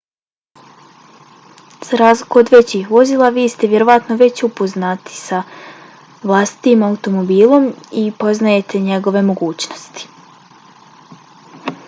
za razliku od većih vozila vi ste vjerovatno već upoznati s vlastitim automobilom i poznajete njegove mogućnosti